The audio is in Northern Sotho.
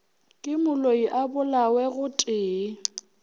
ke moloi a bolawe gotee